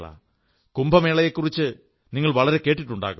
കുംഭമേളയെക്കുറിച്ച് ഏറെ കേട്ടിട്ടുണ്ടാകും